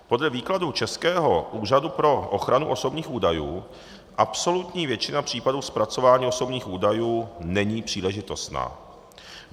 Podle výkladu českého Úřadu pro ochranu osobních údajů absolutní většina případů zpracování osobních údajů není příležitostná.